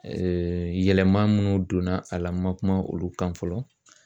yɛlɛma munnu donna a la n ma kuma olu kan fɔlɔ